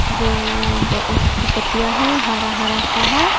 जो ब उसकी पत्तियां हैं हरा हरा सा है।